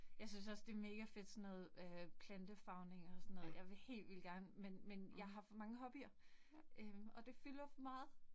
Jeg synes også, det mega fedt sådan noget øh plantefarvning og sådan noget, jeg vil helt vildt gerne, men men jeg har for mange hobbyer. Øh og det fylder for meget